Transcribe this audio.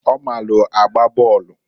Ọ maalụ agba bọọlụ.